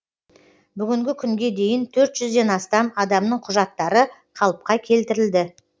бүгінгі күнге дейін төрт жүзден астам адамның құжаттары қалыпқа келтірілді